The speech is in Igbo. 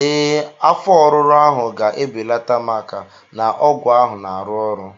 Ee, afọ ọruru ahụ ga-ebelata maka na ọgwụ ahụ na-arụ ọrụ